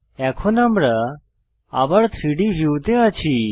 এখন আমরা আবার 3ডি ভিউতে আছি